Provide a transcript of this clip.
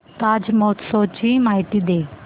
ताज महोत्सव ची माहिती दे